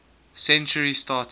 century started